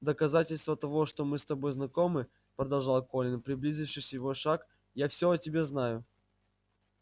в доказательство того что мы с тобой знакомы продолжал колин приблизившись его шаг я всё о тебе знаю